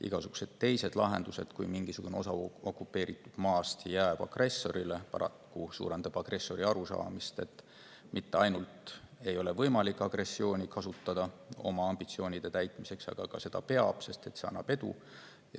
Igasugused teised lahendused, mingisugune osa okupeeritud maast jääb agressorile, paraku suurendavad agressori arusaamist, et mitte ainult ei ole võimalik agressiooni oma ambitsioonide täitmiseks kasutada, vaid seda peabki, sest see toob edu.